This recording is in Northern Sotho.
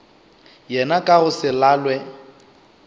yena ka go se lalwe